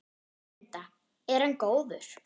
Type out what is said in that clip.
Linda: Er hann góður?